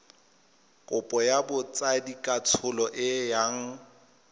kopo ya botsadikatsholo e yang